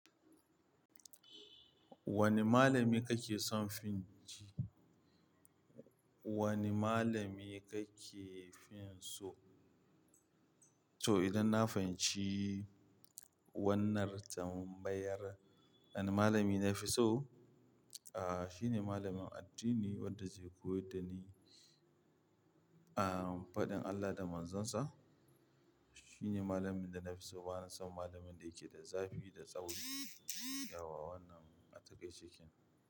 Wane malami kake son fin ji? Wane malami kake fin so? To idan na fahimci wannan tambayar, wane malami nafi so, ah shine malamin addini wanda zai koyar da ni ah faɗin Allah da Manzon sa. Shine malamin da nafi so bana son malamin da yake da zafi da tsauri, yauwa wannan ataƙaice kenan.